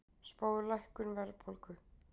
Spáir lækkun verðbólgu